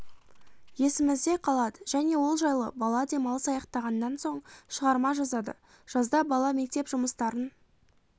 есімізде қалады және ол жайлы бала демалыс аяқтағаннан соң шығарма жазады жазда бала мектеп жұмыстарын